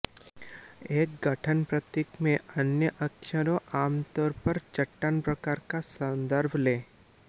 एक गठन प्रतीक में अन्य अक्षरों आमतौर पर चट्टान प्रकार का संदर्भ लें